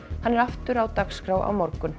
hann er aftur á dagskrá á morgun